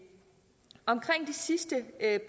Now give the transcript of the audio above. sidste